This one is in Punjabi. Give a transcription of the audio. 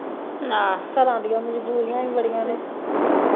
ਘਰਾ ਦੀਆ ਮਜ਼ਬੂਰੀਆਂ ਈ ਬੜੀਆਂ ਨੇ